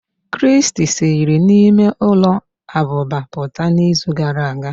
Christy siri n'ime ụlọ abụba pụta n'izu gara aga.